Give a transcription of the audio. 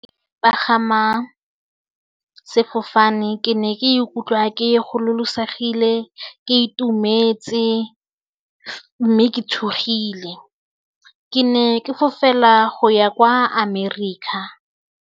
Pagama sefofane ke ne ke ikutlwa ke gololosegile, ke itumetse mme ke tshogile, ke ne ke fofela go ya kwa America.